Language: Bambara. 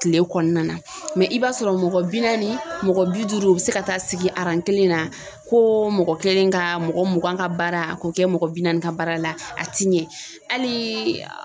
Kile kɔnɔna na i b'a sɔrɔ mɔgɔ bi naani mɔgɔ bi duuru o bɛ se ka taa sigi kelen na, ko mɔgɔ kelen ka mɔgɔ mugan ka baara a k'o kɛ mɔgɔ bi naani ka baara la a ti ɲɛ hali